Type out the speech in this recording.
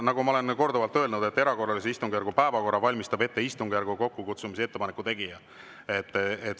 Nagu ma olen korduvalt öelnud, erakorralise istungjärgu päevakorra valmistab ette istungjärgu kokkukutsumise ettepaneku tegija.